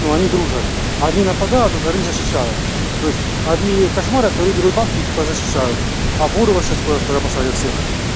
но они дружат одни нападают а вторые защищают то есть одни кошмарят вторые берут банк и типа защищают а бурого сейчас скоро скоро посадят всех